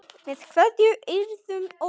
Með kveðju, Eyrún Ósk.